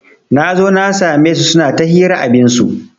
Nazo na sa me su suna ta hira abinsu